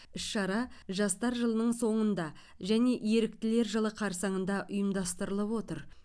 іс шара жастар жылының соңында және еріктілер жылы қарсаңында ұйымдастырылып отыр